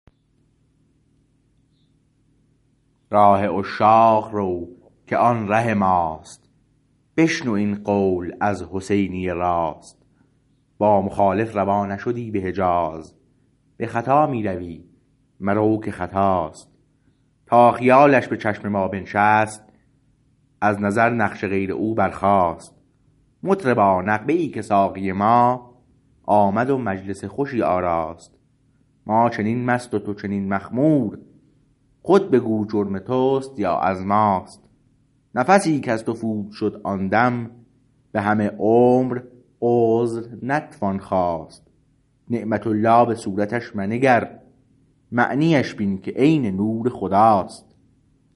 راه عشاق رو که آن ره ماست بشنو این قول از حسینی راست با مخالف روا نشدی به حجاز به خطا می روی مرو که خطاست تا خیالش به چشم ما بنشست از نظر نقش غیر او برخاست مطربا نغمه ای که ساقی ما آمد و مجلس خوشی آراست ما چنین مست و تو چنین مخمور خود بگو جرم تست یا از ماست نفسی کز تو فوت شد آن دم به همه عمر عذر نتوان خواست نعمت الله به صورتش منگر معنیش بین که عین نور خداست